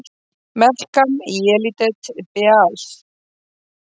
Melkam Yelidet Beaal!